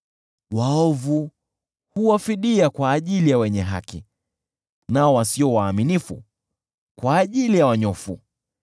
Waovu huwa fidia kwa ajili ya wenye haki, nao wasio waaminifu kwa ajili ya wanyofu.